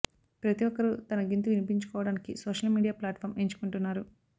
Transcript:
ప్రతి ఒక్కరు తన గింతు వినిపించుకోవడనికి సోషల్ మీడియా ప్లాటుఫామ్ ఎంచుకుంటున్నారు